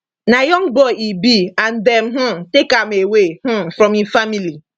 na young boy e be and dem um take am away um from im family